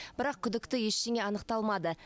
бірақ күдікті ештеңе анықталмады